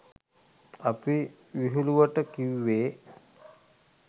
අපි විහිළුවට කිව්වේ.